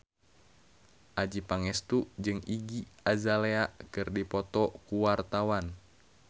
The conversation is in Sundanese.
Adjie Pangestu jeung Iggy Azalea keur dipoto ku wartawan